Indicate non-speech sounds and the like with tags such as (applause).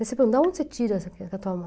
Da onde você tira essa (unintelligible)